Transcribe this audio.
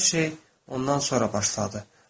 Hər şey ondan sonra başladı.